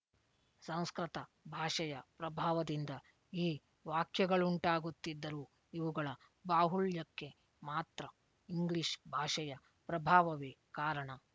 ಸಂಸ್ಕೃತ ಭಾಷೆಯ ಪ್ರಭಾವದಿಂದ ಈ ವಾಕ್ಯಗಳುಂಟಾಗುತ್ತಿದ್ದರೂ ಇವುಗಳ ಬಾಹುಳ್ಯಕ್ಕೆ ಮಾತ್ರ ಇಂಗ್ಲೀಷ್ ಭಾಷೆಯ ಪ್ರಭಾವವೇ ಕಾರಣ